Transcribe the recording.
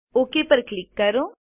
okay પર click કરો